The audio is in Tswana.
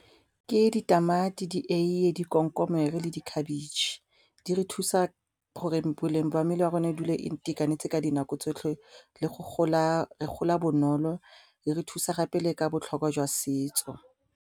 Ke ditamati, dieie, dikomkomere le dikhabetšhe di re thusa gore boleng ba mmele wa rona e dule e itekanetse ka dinako tsotlhe le go gola bonolo le re thusa gape le ka botlhokwa jwa setso.